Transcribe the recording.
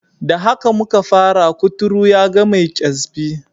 Da haka muka fara, kuturu yaga mai kyasbi.